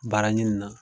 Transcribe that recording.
Baara ɲini na